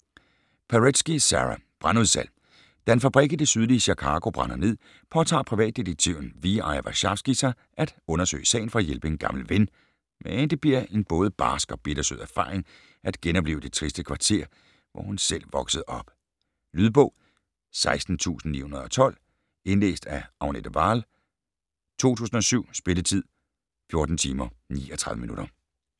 Paretsky, Sara: Brandudsalg Da en fabrik i det sydlige Chicago brænder ned, påtager privatdetektiven V.I. Warshawski sig at undersøge sagen for at hjælpe en gammel ven, men det bliver en både barsk og bittersød erfaring at genopleve det triste kvarter, hvor hun selv voksede op. Lydbog 16912 Indlæst af Agnete Wahl, 2007. Spilletid: 14 timer, 39 minutter.